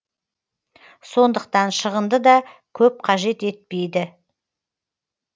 сондықтан шығынды да көп қажет етпейді